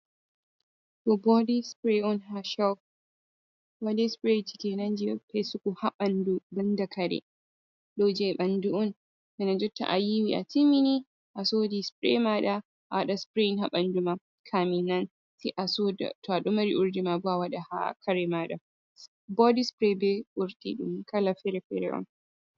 Ɗo bodi sprai on ha shop. Bodi sprai je fesugo ɗum ha ɓandu banda kare. Ɗou je ɓandu'un. Bana jonta ayiwi a timini a sodi sprai maɗa awaɗa sprai ha ɓandu ma kamin nan to a'domari urdi mabo awaɗa ha kare maɗa. Bodi sprai be urdi ɗun kala fere-fere on.